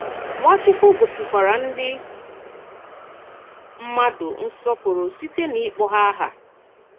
Nwàchùkwù gòsìkwàrà ndị mmàdù nsọ̀pụrụ̀ sịtè n’ịkpọ̀ àhà hà.